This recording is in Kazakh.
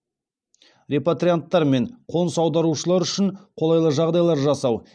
репатрианттар мен қоныс аударушылар үшін қолайлы жағдайлар жасау